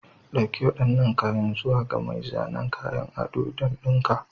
Dauki waɗannan kayan zuwa ga mai zanen kayan ado don dinka.